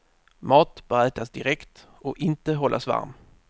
Mat bör ätas direkt och inte hållas varm.